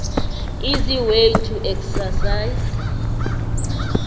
easy way to exercise